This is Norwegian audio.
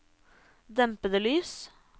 dempede lys